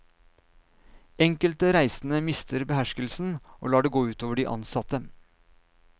Enkelte reisende mister beherskelsen og lar det gå ut over de ansatte.